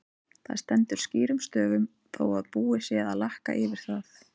Það stendur skýrum stöfum þó að búið sé að lakka yfir það!